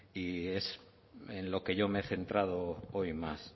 y es en lo que yo me he centrado hoy más